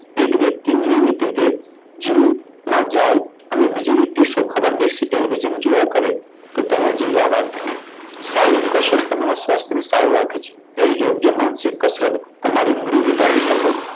એક વ્યક્તિ નિયમિત રીતે જીવનમાં જાય અને બીજી રીતે શોભા પર બેસીને જેમ જોયા કરે તો તેના જેવી આ વાત થઈ. સારી કસરત કરનારા સ્વાસ્થ્યને સ્વસ્થ રાખે છે. જ્યારે યોગ્ય માનસિક કસરત તમારી મૂડી વધારવાની તકો.